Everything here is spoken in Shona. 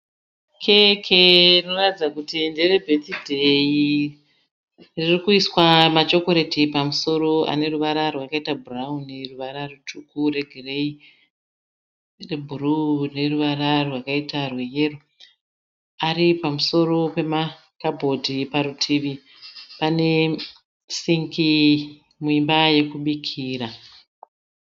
Keke rinoratidza kuti ndere birthday riri kuiswa machokorati pamusoro ane ruvara rwakaita bhurauni ruvara rutsvuku rwegireyi rwebhuruu neruvara rwakaita rweyero ari pamusoro pemakabhoti parutivi pane singi muimba yekubikira.